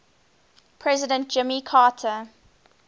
president jimmy carter